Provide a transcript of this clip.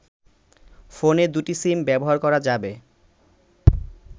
ফোনে দুটি সিম ব্যবহার করা যাবে